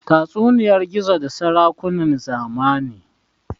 tatsuniyar gizo da sarakunan zamani